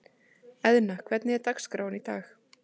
Eðna, hvernig er dagskráin í dag?